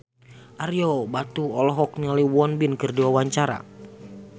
Ario Batu olohok ningali Won Bin keur diwawancara